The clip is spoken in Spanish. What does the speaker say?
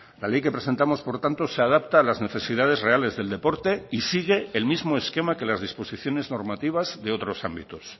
la ley que presentamos por tanto se adapta a las necesidades reales del deporte y sigue el mismo esquema que las disposiciones normativas de otros ámbitos